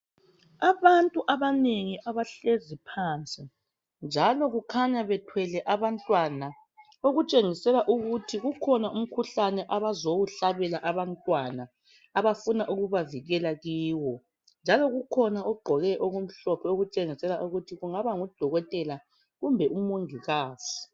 Abantu abanengi abahlezi phansi njalo kukhanya bethwele abantwana okutshengisela ukuthi kukhona umkhuhlane abazowuhlabela abantwana, abafuna ukubavikela kuwo njalo kukhona ogqoke okumhlophe okutshengisela ukuba kungaba ngudokotela kumbe umongikazi.